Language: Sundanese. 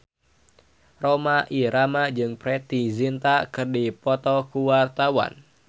Rhoma Irama jeung Preity Zinta keur dipoto ku wartawan